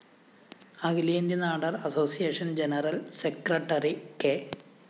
അഖിലേന്ത്യാനാടാര്‍ association general secretary K